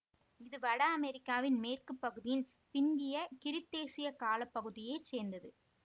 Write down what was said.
இது வட அமெரிக்காவின் மேற்கு பகுதியின் பிந்திய கிரீத்தேசிய கால பகுதியை சேர்ந்தது